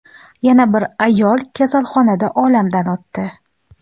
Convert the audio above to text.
Yana bir ayol kasalxonada olamdan o‘tdi.